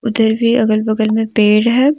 भी अगल बगल में पेड़ है।